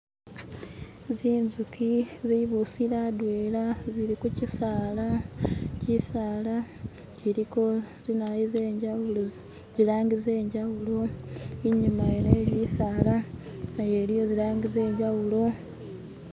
Zinzuki zubusile hadwela zili kuchisaala chisaala chiliko zinayu zenjawulo zilangi zenjawulo inyuma yene ye bisaala nayo iliyo zilangi zenjawulo